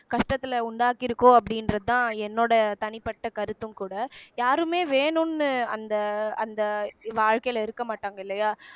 கஷ்டத்துல உண்டாக்கிருக்கோ அப்படின்றதுதான் என்னோட தனிப்பட்ட கருத்தும் கூட யாருமே வேணுன்னு அந்த அந்த வாழ்க்கையில இருக்க மாட்டாங்க இல்லையா